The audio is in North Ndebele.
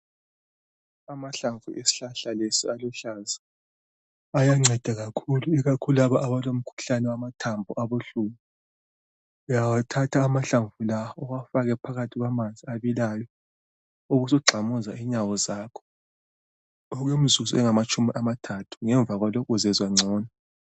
Amahlamvu esihlahla lesi aluhlaza ayanceda kakhulu ikakhulu abalomkhuhlane wamathambo abuhlungu. Uyawathatha amahlamvu lawa uwafake phakathi kwamanzi abilayo, ubusugxumuza inyawo zakho okwemizuzu engamatshumi amathathu, ngemva kwalokho uzezwa ngcono